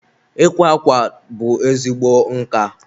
ịkwa akwa bụ ezigbo nka.